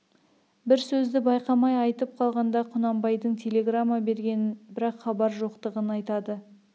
бір сөзді байқамай айтып қалғанда құнанбайдың телеграмма бергенін бірақ хабар жоқтығын айтады